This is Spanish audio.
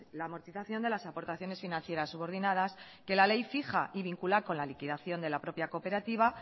la amortización de las aportaciones financieras subordinadas que la ley fija y vincula con la liquidación de la propia cooperativa